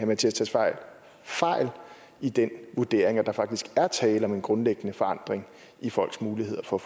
mattias tesfaye fejl i den vurdering altså at der faktisk er tale om en grundlæggende forandring i folks muligheder for